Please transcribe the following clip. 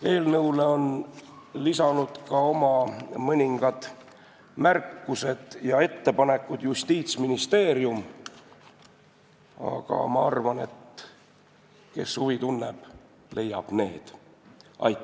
Eelnõule on lisanud oma mõningad märkused ja ettepanekud Justiitsministeerium, aga ma arvan, et kes huvi tunneb, see leiab need üles.